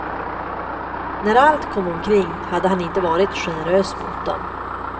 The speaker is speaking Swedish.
När allt kom omkring hade han inte varit generös mot dem.